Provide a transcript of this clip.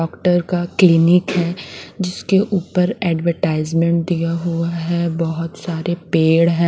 Doctor का clinic है जिसके ऊपर एडवर्टाइजमेंट दिया हुआ है बहुत सारे पेड़ हैं।